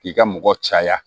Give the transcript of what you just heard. K'i ka mɔgɔ caya